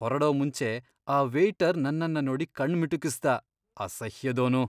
ಹೊರಡೋ ಮುಂಚೆ ಆ ವೇಯ್ಟರ್ ನನ್ನನ್ನ ನೋಡಿ ಕಣ್ಣ್ ಮಿಟುಕಿಸ್ದ. ಅಸಹ್ಯದೋನು..